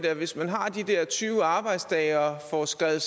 at hvis man har de her tyve arbejdsdage og får skrevet